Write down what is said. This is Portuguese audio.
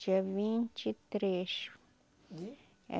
Dia vinte e três. De? É